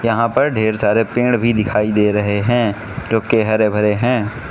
यहां पर ढेर सारे पेड़ भी दिखाई दे रहे हैं जोके हरे भरे हैं।